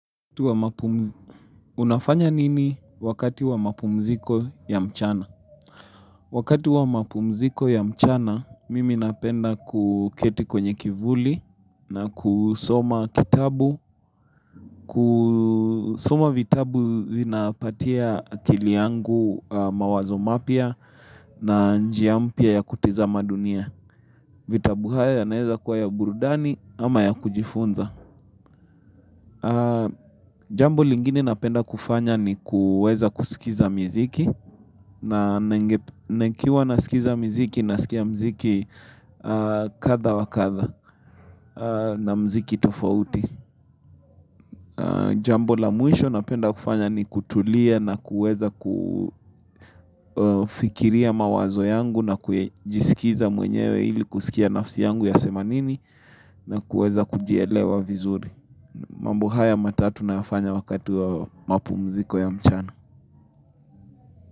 Unafanya nini wakati wa mapumziko ya mchana? Wakati wa mapumziko ya mchana, mimi napenda kuketi kwenye kivuli na kusoma kitabu. Kusoma vitabu vina patia akili yangu mawazo mapya na njia mpya ya kutazama dunia. Vitabu haya yanaeza kwa ya burudani ama ya kujifunza. Jambo lingine napenda kufanya ni kuweza kusikiza miziki na nikiwa na sikiza miziki na sikia mziki kadha wa kadha na mziki tofauti Jambo la mwisho napenda kufanya ni kutulia na kueza kufikiria mawazo yangu na kujisikiza mwenyewe ili kusikia nafsi yangu inasema nini na kueza kujielewa vizuri mambo haya matatu nayafanya wakati wa mapumziko ya mchana.